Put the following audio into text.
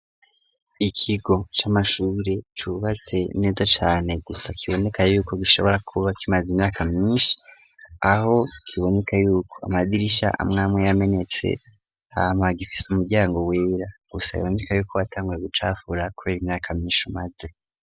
Ikigo c'amashubire cubatse neza cane gusa kiboneka yuko gishobora kuba kimaza imyaka myinshi aho kiboneka yuko amadirisha amwame yamenetse hama gifise umuryango wera gusa iboneka yuko watanguwe gucafura, kubera imyaka myinshi umaze.